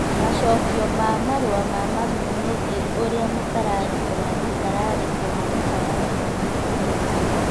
Macokio ma marũa ma mami megiĩ ũrĩa mũtararĩko wa mũtararĩko wa mũtararĩko wa mũtararĩko